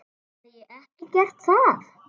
Hef ég ekki gert það?